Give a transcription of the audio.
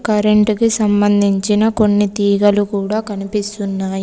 Current కి సంబంధించిన కొన్ని తీగలు కూడా కనిపిస్తున్నాయి.